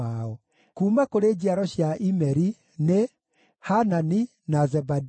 Kuuma kũrĩ njiaro cia Imeri nĩ: Hanani na Zebadia.